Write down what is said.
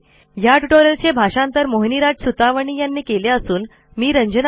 ह्या ट्युटोरियलचे मराठी भाषांतर मोहिनीराज सुतवणी यांनी केलेले असून आवाज